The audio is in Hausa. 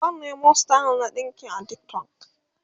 zan Nemo style na ɗinki a TikTok